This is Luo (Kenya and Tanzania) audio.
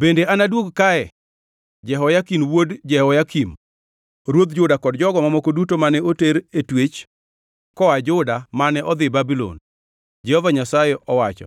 Bende anaduog kae Jehoyakin wuod Jehoyakim ruodh Juda kod jogo mamoko duto mane oter e twech koa Juda mane odhi Babulon,’ Jehova Nyasaye owacho,